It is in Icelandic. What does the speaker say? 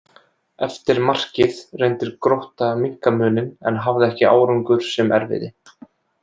Eftir markið reyndi Grótta að minnka muninn en hafði ekki árangur sem erfiði.